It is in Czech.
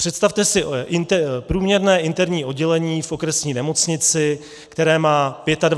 Představte si průměrné interní oddělení v okresní nemocnici, které má 25 lékařů.